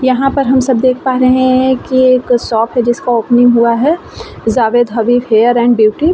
यहाँ पर हम सब देख पा रहे है की एक शॉप है जिसका ओपनिंग हुआ है Javed Habib hair and beauty .